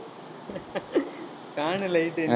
fan உ light உ என்~